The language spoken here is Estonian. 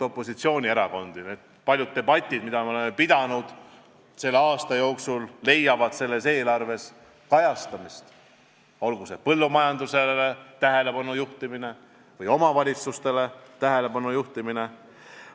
Need paljud debatid, mida me oleme pidanud selle aasta jooksul, leiavad selles eelarves kajastamist, olgu see põllumajandusele tähelepanu juhtimine või omavalitsustele tähelepanu juhtimine.